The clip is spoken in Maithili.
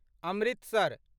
अमृतसर